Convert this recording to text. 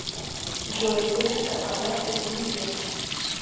джой выписка по карте за неделю